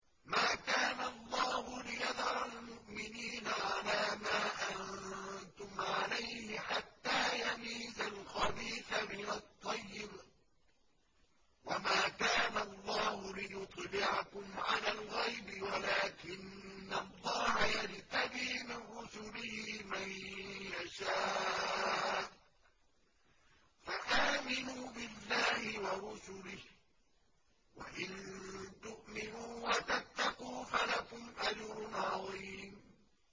مَّا كَانَ اللَّهُ لِيَذَرَ الْمُؤْمِنِينَ عَلَىٰ مَا أَنتُمْ عَلَيْهِ حَتَّىٰ يَمِيزَ الْخَبِيثَ مِنَ الطَّيِّبِ ۗ وَمَا كَانَ اللَّهُ لِيُطْلِعَكُمْ عَلَى الْغَيْبِ وَلَٰكِنَّ اللَّهَ يَجْتَبِي مِن رُّسُلِهِ مَن يَشَاءُ ۖ فَآمِنُوا بِاللَّهِ وَرُسُلِهِ ۚ وَإِن تُؤْمِنُوا وَتَتَّقُوا فَلَكُمْ أَجْرٌ عَظِيمٌ